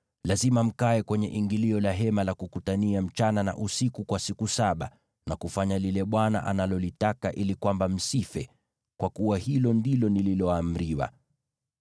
Lazima mkae kwenye ingilio la Hema la Kukutania usiku na mchana kwa siku saba, na kufanya lile Bwana analolitaka, ili kwamba msife; kwa kuwa hilo ndilo nililoamriwa.”